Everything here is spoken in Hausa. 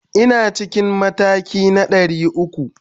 Ina cikin matakin 300.